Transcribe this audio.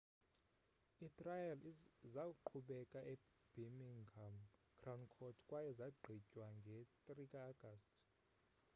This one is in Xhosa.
itrial zaqhubeka ebirmingham crown court kwaye zagqitywa nge-3 ka-agasti